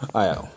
Ayiwa